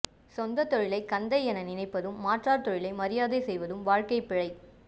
சொந்தத் தொழிலை கந்தை என நினைப்பதும் மாற்றார் தொழிலை மரியாதை செய்வதும் வாழ்க்கைப் பிழை